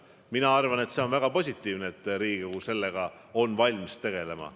Ma arvan, et see on väga positiivne, et Riigikogu sellega on valmis tegelema.